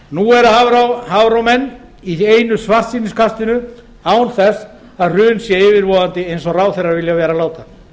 nú eru hafró menn í einu svartsýniskastinu án þess að hrun sé yfirvofandi eins og ráðherrar vilja láta